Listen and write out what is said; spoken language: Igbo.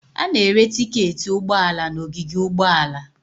A na-ere tiketi ụgbọ ala n'ogige ụgbọala.